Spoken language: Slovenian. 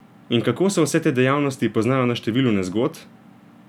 In kako se vse te dejavnosti poznajo na številu nezgod?